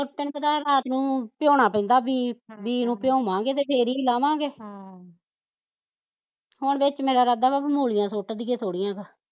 ਤੇਨੂੰ ਪਤਾ ਓਹ ਰਾਤ ਨੂੰ ਭਿਓਣਾ ਪੈਂਦਾ ਬੀਂ ਹਮ ਬੀਂ ਨੂੰ ਭਿਓਵਾਗੇ ਤੇ ਫੇਰ ਈ ਲਵਾਂਗੇ ਹਮ ਹੁਣ ਵਿੱਚ ਮੇਰਾ ਇਰਾਦਾ ਵਾਂ ਮੂਲੀਆ ਸੁੱਟ ਦਈਏ ਥੋੜੀਆਂ ਕੁ